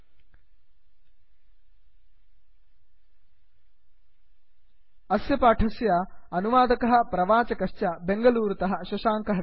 spoken hyphen tutorial dot org slash NMEICT hyphen intro अस्य पाठस्य अनुवादकः प्रवाचकश्च बेंगलूरुतः शशांकः